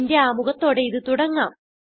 functionsന്റെ ആമുഖത്തോടെ ഇത് തുടങ്ങാം